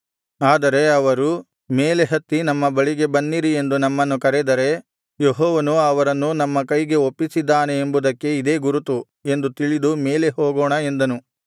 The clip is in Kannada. ಆದರೆ ಅವರು ಮೇಲೆ ಹತ್ತಿ ನಮ್ಮ ಬಳಿಗೆ ಬನ್ನಿರಿ ಎಂದು ನಮ್ಮನ್ನು ಕರೆದರೆ ಯೆಹೋವನು ಅವರನ್ನು ನಮ್ಮ ಕೈಗೆ ಒಪ್ಪಿಸಿದ್ದಾನೆ ಎಂಬುದಕ್ಕೆ ಇದೇ ಗುರುತು ಎಂದು ತಿಳಿದು ಮೇಲೆ ಹೋಗೋಣ ಎಂದನು